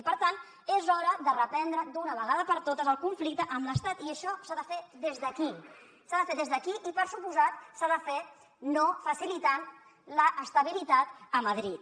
i per tant és hora de reprendre d’una vegada per totes el conflicte amb l’estat i això s’ha de fer des d’aquí s’ha de fer des d’aquí i per descomptat s’ha de fer no facilitant l’estabilitat a madrid